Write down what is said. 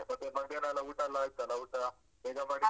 ಮತ್ತೆ ಮಧ್ಯಾನೆಲ್ಲ ಊಟೆಲ್ಲ ಆಯ್ತಲ್ಲ? ಊಟ ಬೇಗ ಮಾಡಿದ್ರ.